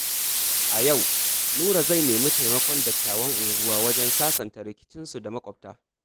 A yau, Nura zai nemi taimakon dattawan unguwa wajen sasanta rikicinsu da maƙwabta.